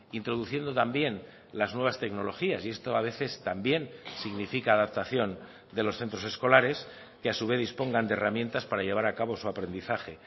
introduciendo también las nuevas tecnologías y esto a veces también significa adaptación de los centros escolares que a su vez dispongan de herramientas para llevar a cabo su aprendizaje